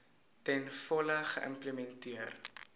ten volle geïmplementeer